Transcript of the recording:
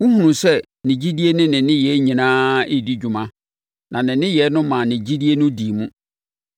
Wohunu sɛ ne gyidie ne ne nneyɛeɛ nyinaa redi dwuma na ne nneyɛeɛ no maa ne gyidie no dii mu.